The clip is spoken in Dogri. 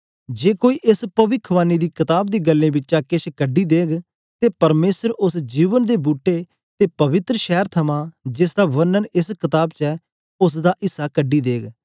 जे कोई एस पविखवाणी दी कताब दी गल्लें बिचा किश कड्डी देग ते परमेसर उस्स जीवन दे बूट्टे ते पवित्र शैर थमा जेसदा वर्णन एस कताब च ऐ उस्स दा इस्सा कड्डी देग